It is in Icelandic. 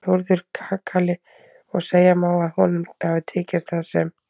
Þórður kakali og segja má að honum hafi tekist það sem